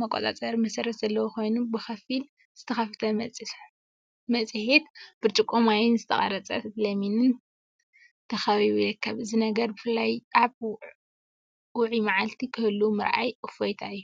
መቆጻጸሪ መሰረት ዘለዎ ኮይኑ፡ ብኸፊል ዝተኸፍተ መጽሔት፡ ብርጭቆ ማይን ዝተቖርጸ ለሚንን ተኸቢቡ ይርከብ። እዚ ነገር ብፍላይ ኣብ ውዑይ መዓልቲ ክህሉ ምርኣይ እፎይታ እዩ።